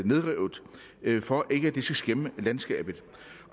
nedrevet for at de ikke skal skæmme landskabet